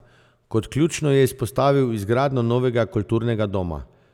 Kot ključno je izpostavil izgradnjo novega kulturnega doma.